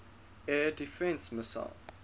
air defense missile